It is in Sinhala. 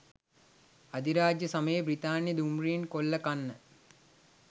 අධිරාජ්‍ය සමයේ බ්‍රිතාන්‍ය දුම්රීන් කොල්ලකන්න